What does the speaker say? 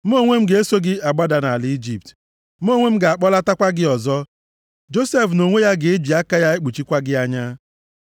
Mụ onwe m ga-eso gị agbada nʼala Ijipt. Mụ onwe m ga-akpọlatakwa gị ọzọ. Josef nʼonwe ya ga-eji aka ya ekpuchikwa gị anya.”